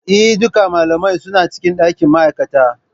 Eh, Duka malamai suna cikin dakin ma'aikata.